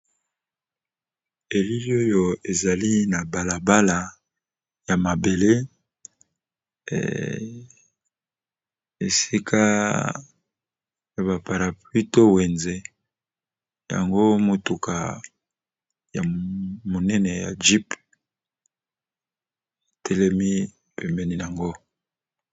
Elili oyo ezali na balabala ya mabele, esika ya baparapluie to wenze yango motuka ya monene ya jype etelemi pembeni yango.